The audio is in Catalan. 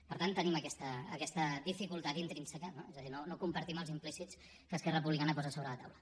per tant tenim aquesta dificultat intrínseca no és a dir no compartim els implícits que esquerra republicana posa a sobre la taula